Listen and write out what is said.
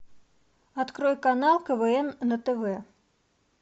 открой канал квн на тв